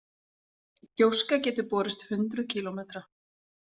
Gjóska getur borist hundruð kílómetra.